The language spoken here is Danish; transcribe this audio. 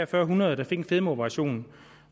tre hundrede der fik en fedmeoperation